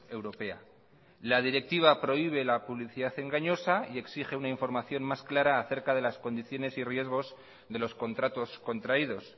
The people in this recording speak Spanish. europea la directiva prohíbe la publicidad engañosa y exige una información más clara acerca de las condiciones y riesgos de los contratos contraídos